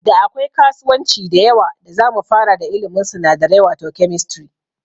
Da akwai kasuwanci da yawa da zamu fara da ilimin sinadarai wato Chemistry